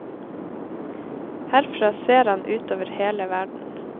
Herfra ser han utover hele verden.